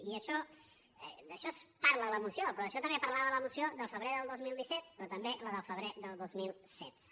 i d’això es parla en la moció però d’això també parlava la moció del febrer del dos mil disset però també la del febrer del dos mil setze